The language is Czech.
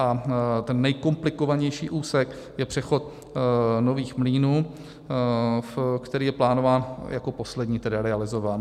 A ten nejkomplikovanější úsek je přechod Nových Mlýnů, který je plánován jako poslední, tedy realizován.